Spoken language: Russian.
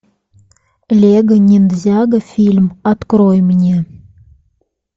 лего ниндзяго фильм открой мне